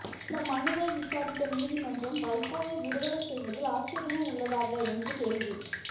இந்தமனுவை விசாரித்த நீதிமன்றம் வைகோவை விடுதலை செய்வதில் ஆட்சேபணை உள்ளதாக என்று கேள்வி